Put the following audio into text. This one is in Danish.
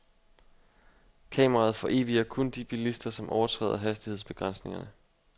Kameraet foreviger kun de bilister, som overtræder hastighedsbegrænsningerne.